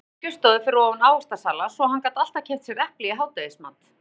Hann átti skrifstofu fyrir ofan ávaxtasala svo hann gat alltaf keypt sér epli í hádegismat.